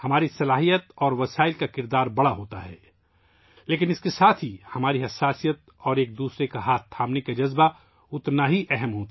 ہماری صلاحیتیں اور وسائل کسی بھی آفت سے نمٹنے میں بڑا کردار ادا کرتے ہیں لیکن ساتھ ہی ساتھ ہماری حساسیت اور ہاتھ تھامنے کا جذبہ بھی اتنا ہی اہم ہے